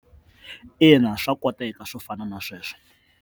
Ina, swa koteka swo fana na sweswo.